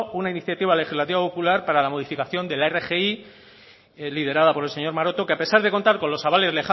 una iniciativa legislativa popular para la modificación de la rgi liderada por el señor maroto que a pesar de contar con los avales